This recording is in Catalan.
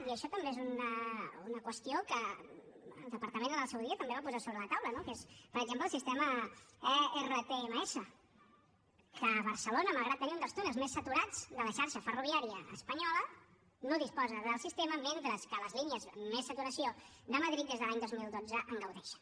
i això també és una qüestió que el departament en el seu dia també va posar a sobre de la taula no que és per exemple el sistema ertms que barcelona malgrat tenir un dels túnels més saturats de la xarxa ferroviària espanyola no disposa del sistema mentre que a les línies amb més saturació de madrid des de l’any dos mil dotze en gaudeixen